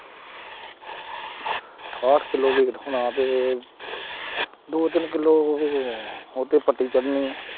ਅਠਾਹਟ kilo weight ਹੋਣਾ ਤੇ ਦੋ ਤਿੰਨ ਕਿੱਲੋ ਉਹ, ਉਹ ਤੇ ਪੱਤੀ ਚੜਨੀ ਹੈ।